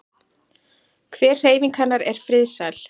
Hver hreyfing hennar er friðsæl.